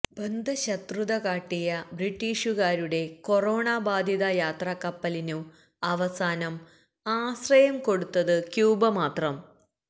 ബദ്ധശത്രുത കാട്ടിയ ബ്രിട്ടീഷുകാരുടെ കൊറോണാ ബാധിത യാത്രാ കപ്പലിനു അവസാനം ആശ്രയം കൊടുത്തത് ക്യൂബ മാത്രം